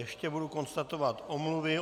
Ještě budu konstatovat omluvy.